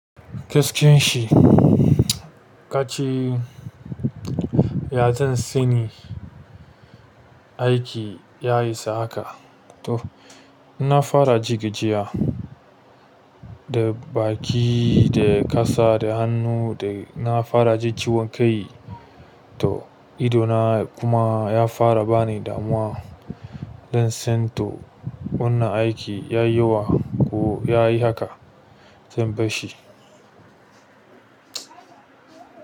Gaskiyan shu kace yazan sani aiki ya isa haka to na fara jin gajiya da baƙi da ƙasa da hannu da na fara ji ciwon kai to ido na kuma ya fara bani damuwa don sai to wannan aiki ya yi wa ko ya yi haka zan bar shi.